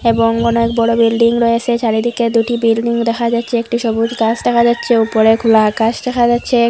এবং অনেক বড় বিল্ডিং রয়েসে চারিদিকে দুটি বিল্ডিং দেখা যাচ্ছে একটি সবুজ গাছ দেখা যাচ্ছে উপরে খোলা আকাশ দেখা যাচ্ছে।